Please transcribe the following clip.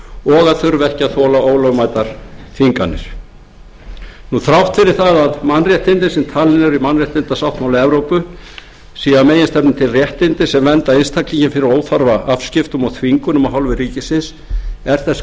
og að þurfa ekki að þola ólögmætar þvinganir þrátt fyrir að mannréttindin sem talin eru í mannréttindasáttmála evrópu séu að meginstefnu réttindi sem vernda einstaklinginn fyrir óþarfa afskiptum og þvingunum af hálfu ríkisins þá er þess